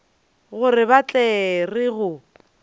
gore ba tla re go